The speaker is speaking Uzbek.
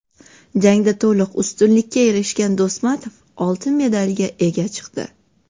Jangda to‘liq ustunlikka erishgan Do‘smatov oltin medalga ega chiqdi.